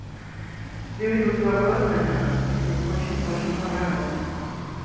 я видел тебя в городе на днях и ты мне очень-очень понравился